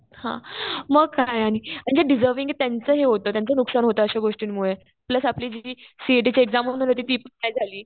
हा. मग काय आणि जे डिंजरविंग आहेत त्यांचं हे होतं. त्यांचं नुकसान होतं अशा गोष्टींमुळे. प्लस आपली जी सीईटीची एक्झाम होणार होती. ती पण नाही झाली.